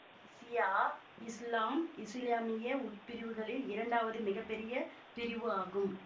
சியா இசுலாம் இசுலாமிய உட்பிரிவுகளில் இரண்டாவது மிக பெரிய பிரிவு ஆகும்